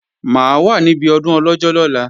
Mà á wà níbi ọdún Ọlọ́jọ́ lọ́la